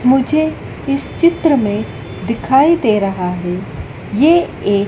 मुझे इस चित्र में दिखाई दे रहा है। ये एक--